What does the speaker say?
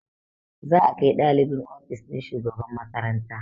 Za a kai ɗalibin ofis ɗin shugaban makaranta